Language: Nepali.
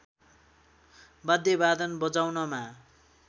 वाद्यवादन बजाउनमा